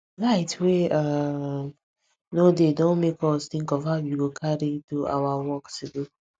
light wey um no dey don make us think of how we go carry do our work today